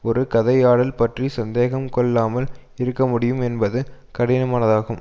ஒரு கதையாடல் பற்றி சந்தேகம் கொள்ளாமால் இருக்க முடியும் என்பது கடினமானதாகும்